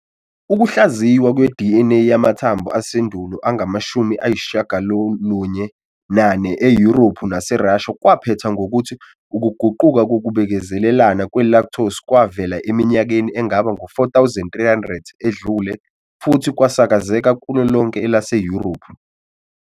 Ukuhlaziywa kwe-DNA yamathambo asendulo angama-94 eYurophu naseRussia kwaphetha ngokuthi ukuguquka kokubekezelelana kwe-lactose kwavela eminyakeni engaba ngu-4 300 edlule futhi kwasakazeka kulo lonke elaseYurophu.